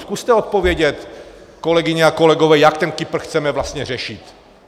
Zkuste odpovědět, kolegyně a kolegové, jak ten Kypr chceme vlastně řešit.